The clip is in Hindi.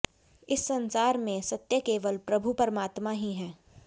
इस संसार में सत्य केवल प्रभु परमात्मा ही है